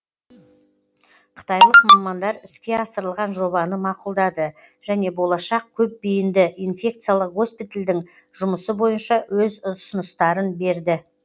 қытайлық мамандар іске асырылған жобаны мақұлдады және болашақ көпбейінді инфекциялық госпитальдің жұмысы бойынша өз ұсыныстарын берді